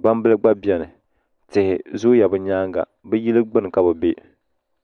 gbambili gba bɛni tihi zooya be nyaaŋa be yili gbini ka be bɛ